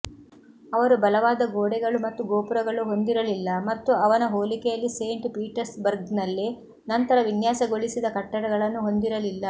ಅವರು ಬಲವಾದ ಗೋಡೆಗಳು ಮತ್ತು ಗೋಪುರಗಳು ಹೊಂದಿರಲಿಲ್ಲ ಮತ್ತು ಅವನ ಹೋಲಿಕೆಯಲ್ಲಿ ಸೇಂಟ್ ಪೀಟರ್ಸ್ಬರ್ಗ್ನಲ್ಲಿ ನಂತರ ವಿನ್ಯಾಸಗೊಳಿಸಿದ ಕಟ್ಟಡಗಳನ್ನು ಹೊಂದಿರಲಿಲ್ಲ